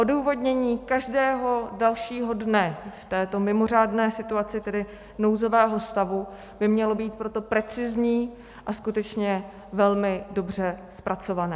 Odůvodnění každého dalšího dne z této mimořádné situace, tedy nouzového stavu, by mělo být tedy precizní a skutečně velmi dobře zpracované.